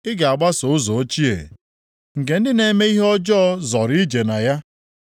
Ị ga-agbaso ụzọ ochie nke ndị na-eme ihe ọjọọ zoro ije na ya?